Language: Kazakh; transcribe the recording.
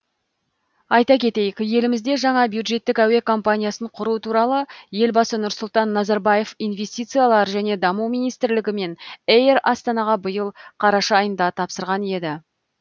айта кетейік елімізде жаңа бюджеттік әуе компаниясын құру туралы елбасы нұрсұлтан назарбаев инвестициялар және даму министрлігі мен эйр астанаға биыл қараша айында тапсырған еді